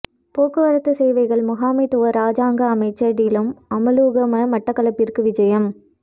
போக்குவரத்து சேவைகள் முகாமைத்துவ இராஜாங்க அமைச்சர் டிலும் அமுலுகம மட்டக்களப்பிற்கு விஜயம்